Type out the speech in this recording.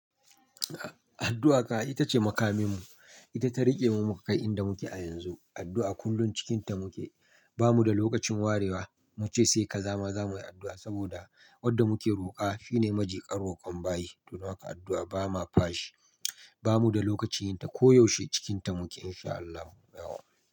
Addu'a ka ita ce makaminmu, ita ta rike mu mu kai inda muke a yanzu. Addu'a kullum cikinta muke, ba mu da lokacin warewa muce sai kaza ma za muyi addu'a saboda wadda muke roƙa fi ne maji kan roƙon bayi. Don haka addu'a ba ma fashi, ba mu da lokacin yinta koyaushe cikinta muke in sha Allahu yawa.